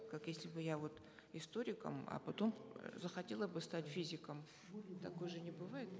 как если бы я вот историком а потом захотела бы стать физиком такое же не бывает